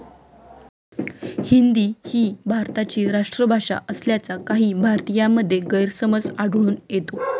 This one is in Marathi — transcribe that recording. हिंदी ही भारताची राष्ट्रभाषा असल्याचा काही भारतीयांमध्ये गैरसमज आढळून येतो.